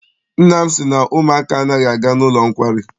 Nna m sị na ụmụaka anaghị aga n'ụlọ nkwari.